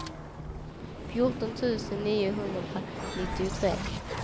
fjorton tusen niohundranittiotre